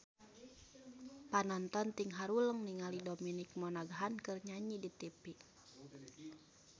Panonton ting haruleng ningali Dominic Monaghan keur nyanyi di tipi